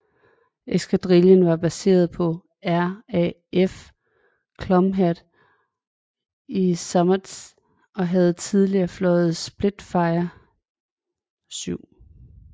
Eskadrillen var baseret på RAF Culmhead i Somerset og havde tidligere fløjet Spitfire VII